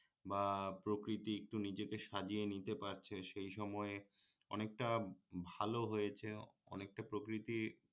বা প্রকৃতি একটু নিজেকে সাজিয়ে নিতে পারছে সেই সময়ে অনেকটা ভাল হয়েছে অনেকটা প্রকৃতি